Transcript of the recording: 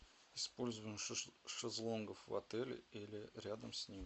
использование шезлонгов в отеле или рядом с ним